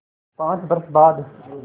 पाँच बरस बाद